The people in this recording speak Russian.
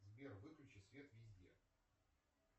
сбер выключи свет везде